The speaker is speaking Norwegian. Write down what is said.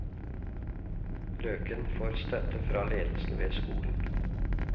Løken får støtte fra ledelsen ved skolen.